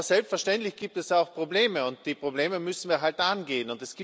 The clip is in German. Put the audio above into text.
Aber selbstverständlich gibt es auch Probleme, und die Probleme müssen wir halt angehen.